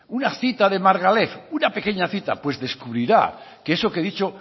una cita de margalef una pequeña cita pues descubrirá que eso que he dicho